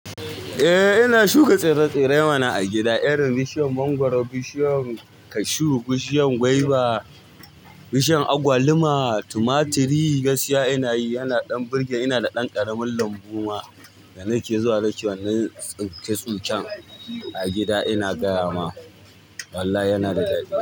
Eh ina shuka tsire-tsire mana a gida irin bishiyan mangoro, bishiyan cashew, bishiyan guava, bishiyan agwaluma, tumaturi, gaskiya ina yi, yana ɗan burge. Ina da ɗan ƙaramin lambu ma da na ke zuwa nake wannan tsince-tsincen a gida ina gyara ma. Wallahi yana da daɗi.